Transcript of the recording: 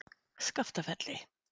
Skaftafelli